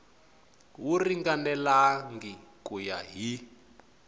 wu ringanelangi ku ya hi